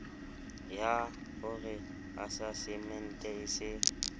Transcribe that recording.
yah ore asasemente e se